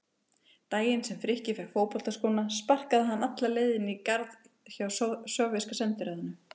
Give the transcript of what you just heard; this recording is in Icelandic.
Daginn sem Frikki fékk fótboltaskóna sparkaði hann alla leið inn í garð hjá Sovéska sendiráðinu.